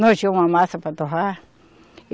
Nós tinha uma massa para torrar.